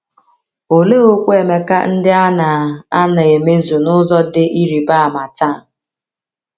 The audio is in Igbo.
Olee okwu Emeka ndị a na - a na - emezu n’ụzọ dị ịrịba ama taa?